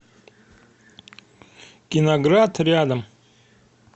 киноград рядом